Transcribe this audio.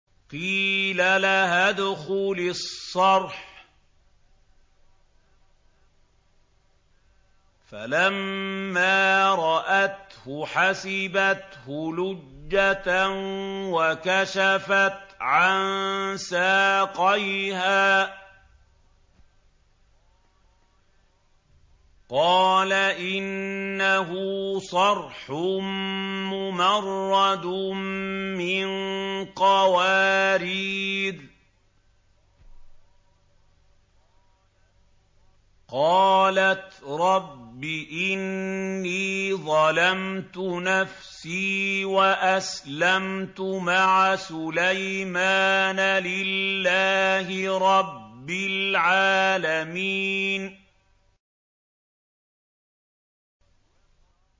قِيلَ لَهَا ادْخُلِي الصَّرْحَ ۖ فَلَمَّا رَأَتْهُ حَسِبَتْهُ لُجَّةً وَكَشَفَتْ عَن سَاقَيْهَا ۚ قَالَ إِنَّهُ صَرْحٌ مُّمَرَّدٌ مِّن قَوَارِيرَ ۗ قَالَتْ رَبِّ إِنِّي ظَلَمْتُ نَفْسِي وَأَسْلَمْتُ مَعَ سُلَيْمَانَ لِلَّهِ رَبِّ الْعَالَمِينَ